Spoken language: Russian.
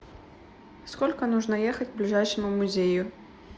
сколько нужно ехать к ближайшему музею